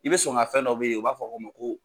I bɛ sɔn ka fɛn dɔ bɛ ye u b'a fɔ k'o ma ko